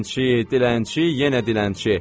Dilənçi, dilənçi, yenə dilənçi!